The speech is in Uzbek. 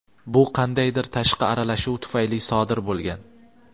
bu qandaydir tashqi aralashuv tufayli sodir bo‘lgan.